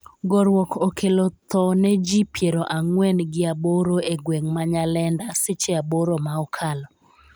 Goruok okelo tho ne ji piero ang'wen gi aboro e gweng' ma Nyalenda seche aboro ma okalo